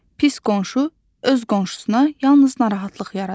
Pis qonşu öz qonşusuna yalnız narahatlıq yaradır.